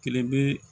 Kelen bɛ